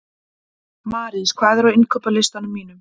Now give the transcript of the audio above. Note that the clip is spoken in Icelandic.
Marís, hvað er á innkaupalistanum mínum?